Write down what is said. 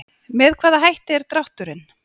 Með hvaða hætti er drátturinn?